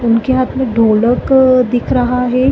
उनके हाथ मे ढ़ोकल दिख रहा है।